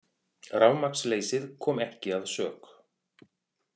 Rafmagnsleysið kom ekki að sök